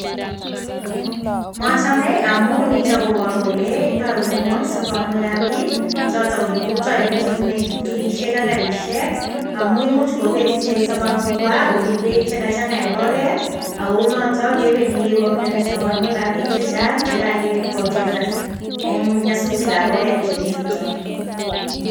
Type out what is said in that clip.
Mochome amu nito koboru kole, indoi ole ng'oi sobonwekab piik, choto ko kiprutoinik chebune tuktukisiek ak garisiek, amu imuch kobeet ichek sobonwekwak kobun beek che kachang'a eng oret, ak kounoto kebendi kebaoryoni sobonwekab piik che chang che kakepotesan eng nyasutikab oret cheu chuto.